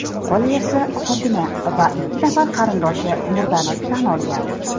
Qolaversa, xotini va ikki nafar qarindoshi murdani tan olgan.